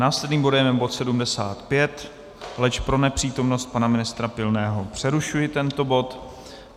Následným bode je bod 75, leč pro nepřítomnost pana ministra Pilného přerušuji tento bod.